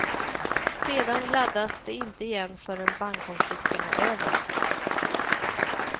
Sedan laddas de inte igen förrän bankkonflikten är över.